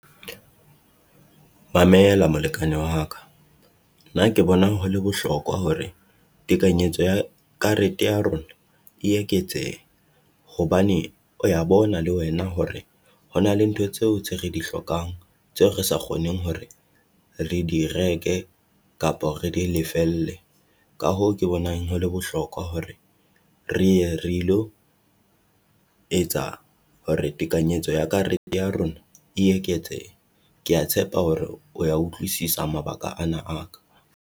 Mamela molekane wa ka, nna ke bonang ho le bohlokwa hore tekanyetso ya karete ya rona e eketsehe. Hobane o ya bona le wena hore ho na le ntho tseo tse re di hlokang, tseo re sa kgoneng hore re di reke kapo re di lefelle. Ka hoo ke bonang ho le bohlokwa hore re ye re ilo etsa hore tekanyetso ya karete ya rona e eketse, kea tshepa hore o ya utlwisisa mabaka ana a ka.